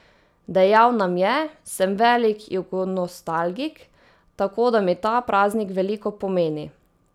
Dejal nam je: 'Sem velik jugonostalgik, tako da mi ta praznik veliko pomeni.